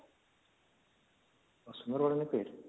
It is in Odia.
ଆଉ sundargarh ନାଇଁ ପାଇ ଯେ